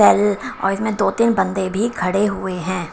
ल और इसमें दो-तीन बंदे भी खड़े हुए हैं।